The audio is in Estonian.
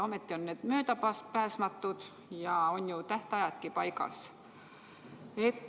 Ometi on need möödapääsmatud ja tähtajadki on paigas.